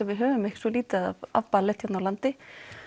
við höfum svo lítið af ballett hér á landi